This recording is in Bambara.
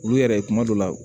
Olu yɛrɛ kuma dɔ la